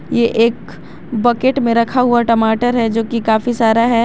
ये एक बकेट में रखा हुआ टमाटर है जो की काफी सारा है।